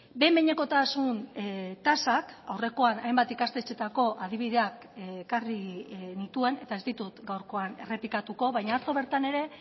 behin behinekotasun tasak aurrekoan hainbat ikastetxetako adibideak ekarri nituen eta ez ditut gaurkoan errepikatuko baina atzo bertan ere